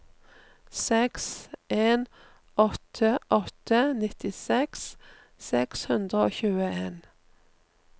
seks en åtte åtte nittiseks seks hundre og tjueen